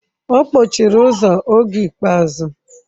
Ọ kpọchiri ụzọ oge ikpeazụ.